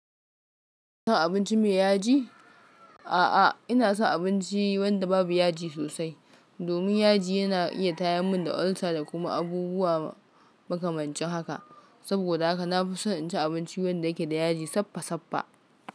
San abinci mai yaji? A'a, ina son abinci wanda babu yaji sosai domin yaji yana iya tayam mun da ulcer da kuma abubuwa makamancin haka. Saboda haka na fi son in ci abinci wanda yake da yaji sappa sappa.